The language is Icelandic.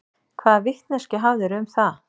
Hvaða vitneskju hafðirðu um það?